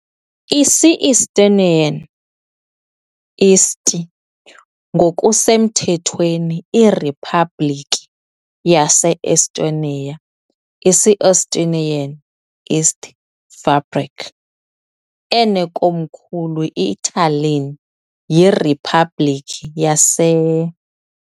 isi - Estonian "Eesti", ngokusemthethweni iRiphabhlikhi yase - Estonia, isi - Estonian "Eesti Vabariik", enekomkhulu iTallinn, yiriphabliki yase.